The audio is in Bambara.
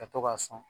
Ka to k'a sɔn